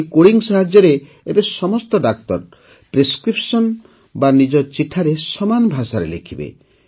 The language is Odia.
ଏହି କୋଡିଂ ସାହାଯ୍ୟରେ ଏବେ ସମସ୍ତ ଡାକ୍ତର ପ୍ରେସ୍କ୍ରିପ୍ସନ ବା ନିଜର ଚିଠାରେ ସମାନ ଭାଷାରେ ଲେଖିବେ